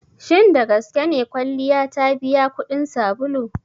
Shin dagaske ne kwalliya ta biya kuɗin sabulu?